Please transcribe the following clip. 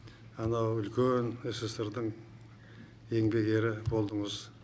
анау үлкен ссср дың еңбек ері болдыңыз